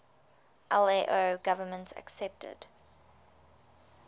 lao government accepted